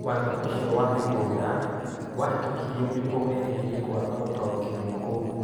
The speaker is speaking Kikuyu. Watho ũcio wa mĩgũnda wahĩtokirio nĩguo weeherie kwaga gũtaũkĩrũo kũu.